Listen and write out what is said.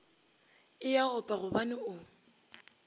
e a opa gobane o